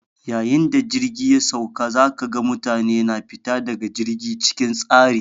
Yayin da jirgi ya sauka, za ka ga mutane na fita daga jirgi cikin tsari.